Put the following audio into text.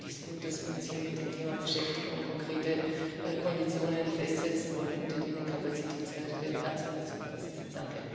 Insofern finde ich es gut, dass wir uns hier mit dem Thema beschäftigen und konkrete Konditionen festsetzen wollen, unter denen Kapazitätsmärkte national zugelassen sind.